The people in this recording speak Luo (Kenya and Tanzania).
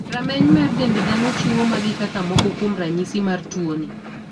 Rameny mar dend dhano chiwo magi kaka moko kuom ranyisi mar tuoni.